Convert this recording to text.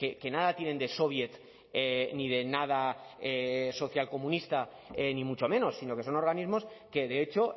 que nada tienen de soviet ni de nada social comunista ni mucho menos sino que son organismos que de hecho